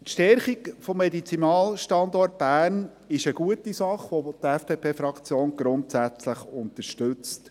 Die Stärkung des Medizinalstandorts Bern ist eine gute Sache, welche die FDP grundsätzlich unterstützt.